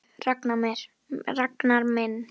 Af hverju spyrðu, Ragnar minn?